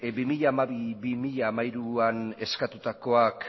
bi mila hamabi bi mila hamairuan eskatutakoak